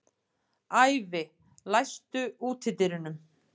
Ævi, læstu útidyrunum.